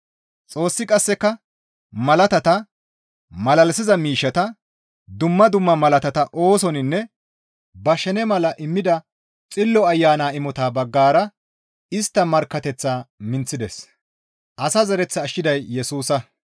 Xoossi qasseka malaatata, malalisiza miishshata, dumma dumma malaatata oosoninne ba shene mala immida Xillo Ayana imotata baggara istta markkateththaa minththides.